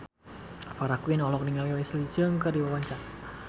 Farah Quinn olohok ningali Leslie Cheung keur diwawancara